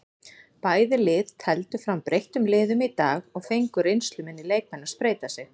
Bæði lið tefldu fram breyttum liðum í dag og fengu reynsluminni leikmenn að spreyta sig.